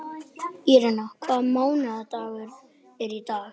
Írena, hvaða mánaðardagur er í dag?